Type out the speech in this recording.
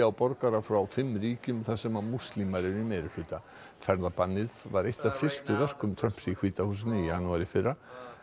borgara frá fimm ríkjum þar sem múslimar eru í meirihluta ferðabannið var eitt af fyrstu verkum Trumps í hvíta húsinu í janúar í fyrra